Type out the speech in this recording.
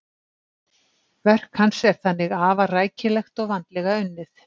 Verk hans er þannig afar rækilegt og vandlega unnið.